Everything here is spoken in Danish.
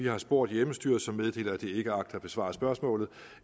har spurgt hjemmestyret som meddeler at det ikke agter at besvare spørgsmålet